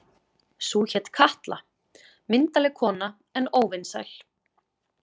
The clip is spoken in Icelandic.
Sú hét Katla, myndarleg kona en óvinsæl.